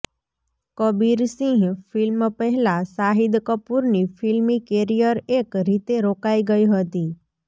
Kabir Singh film પહેલા શાહિદ કપુરની ફિલ્મી કેરિયર એક રીતે રોકાઇ ગઇ હતી